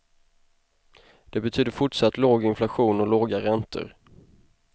Det betyder fortsatt låg inflation och låga räntor.